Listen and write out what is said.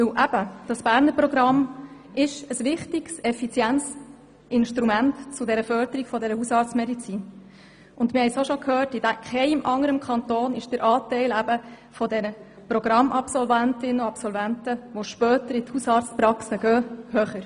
Das Berner Programm ist ein wichtiges und effizientes Instrument zur Förderung der Hausarztmedizin, und unser Kanton hat im Vergleich mit den anderen Kanton den höchsten Anteil von Programmabsolventinnen und -absolventen, die später in Hausarztpraxen gehen.